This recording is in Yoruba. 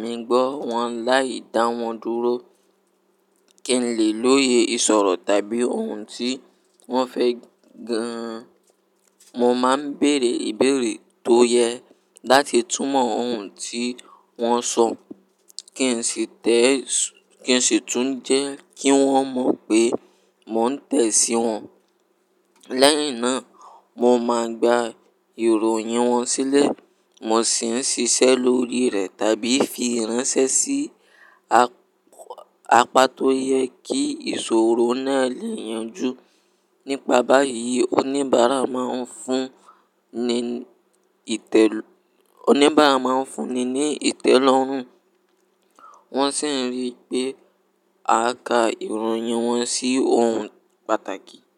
mi gbọ́ wọn láì dá wọn dúró. Kí n lè lóye ìsọ̀rọ̀ tàbí ohun tí wọ́n fẹ́ gan-an, mo máa ń bèèrè ìbéèrè tó yẹ láti túmọ̀ ohun tí wọ́n sọ. Kí n sì tẹ̀ ìsùn, kí n sì tún jẹ́ kí wọ́n mọ̀ pé mò ń tẹ̀ sí wọn. Lẹ́yìn náà, mo máa gba ìròyìn wọn sílẹ̀, mo sì ń ṣiṣẹ́ lórí rẹ̀ tàbí fi ránṣẹ́ sí apá tó yẹ kí ìṣòro náà lè yanjú. Nípa báyìí, oníbàárà máa ń fúnni ní ìtẹ́lọ́rùn, wọ́n sì ń rí pé à ká ìròyìn wọn sí ohun pàtàkì.